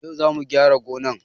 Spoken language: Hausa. Yau zamu gyara gonan